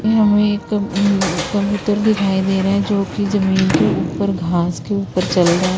उनमें हमे एक उम्म कबूतर दिखाई दे रहा है जो कि जमीन के ऊपर घास के ऊपर चल रहा है।